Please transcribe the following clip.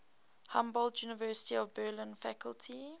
humboldt university of berlin faculty